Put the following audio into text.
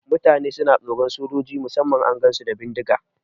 Mutane na tsoron sojoji musamman idan an gansu da bindiga.